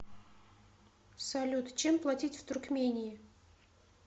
салют чем платить в туркмении